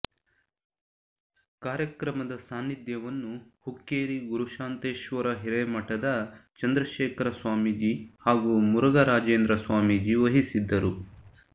ಕಾರ್ಯಕ್ರಮದ ಸಾನ್ನಿಧ್ಯವನ್ನು ಹುಕ್ಕೇರಿ ಗುರುಶಾಂತೇಶ್ವರ ಹಿರೇಮಠದ ಚಂದ್ರಶೇಖರ ಸ್ವಾಮೀಜಿ ಹಾಗೂ ಮುರುಘರಾಜೇಂದ್ರ ಸ್ವಾಮೀಜಿ ವಹಿಸಿದ್ದರು